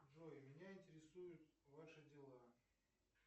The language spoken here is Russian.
джой меня интересуют ваши дела